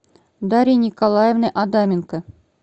дарьи николаевны адаменко